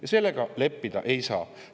Ja sellega leppida ei saa.